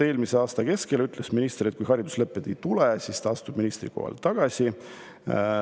Eelmise aasta keskel ütles minister, et kui hariduslepet ei tule, siis ta astub ministrikohalt tagasi.